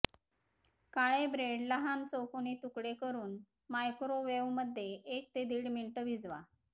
काळे bread लहान चौकोनी तुकडे करून मायक्रोवेव्हमध्ये एक ते दीड मिनिट भिजवा